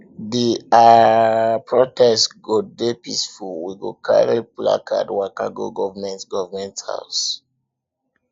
di um protest go dey peaceful we go carry placard waka go government government house